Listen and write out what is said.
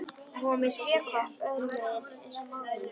Hún var með spékopp öðrum megin eins og móðir hennar.